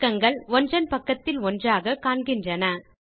பக்கங்கள் ஒன்றன் பக்கத்தில் ஒன்றாக காண்கின்றன